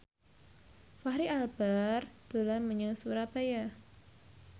Fachri Albar dolan menyang Surabaya